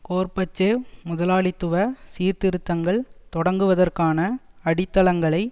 Gorbachev முதலாளித்துவ சீர்திருத்தங்கள் தொடங்குவதற்கான அடித்தளங்களை